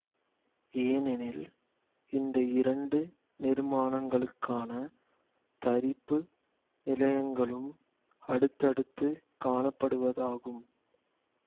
ஏனெனில் இந்த இரண்டு நிர்மாணங்களுக்கான தரிப்பு நிலையங்களும் அடுத்தடுத்து காணப்படுவதாகும்